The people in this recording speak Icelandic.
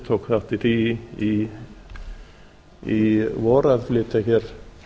tók þátt í því í vor að flytja hér